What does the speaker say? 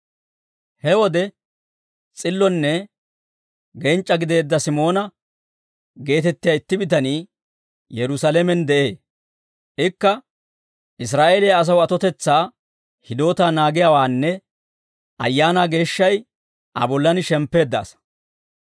He wode s'illonne genc'c'a gideedda Simoona geetettiyaa itti bitanii Yerusaalamen de'ee. Ikka, Israa'eeliyaa asaw atotetsaa hidootaa naagiyaawaanne Ayaanaa Geeshshay Aa bollaan shemppeedda asaa.